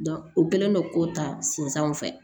o kɛlen don k'o ta sensanw fɛ